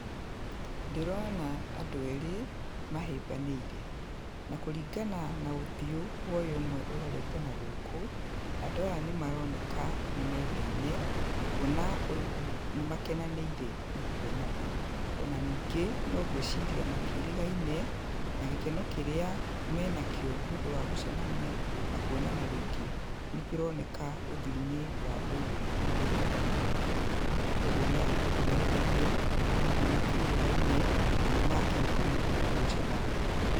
Ndĩrona andũ erĩ mahĩmbanĩire. Na kũringana na ũthiũ wa ũyũ ũmwe ũrorete na gũkũ, andũ aya nĩ maroneka nĩ mendaine kuona ũyũ ũmwe, nĩ makenanĩire nĩ kwonana. Ona ningĩ no ngwĩciria matiĩrigaine, na gĩkeno kĩrĩa menakĩo nĩ ũndũ wa gũcemania na kuonana rĩngĩ nĩ kĩroneka ũthiũ-inĩ wa ũyũ ũrorete na gũkũ tũrĩ. Koguo nĩ aya nĩ andũ mendaine, na hihi matiĩrĩgaine, na nĩ makena mũno nĩ gũcemania.